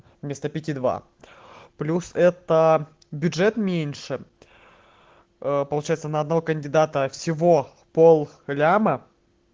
вместо пяти два плюс это бюджет меньше получается на одного кандидата всего пол миллиона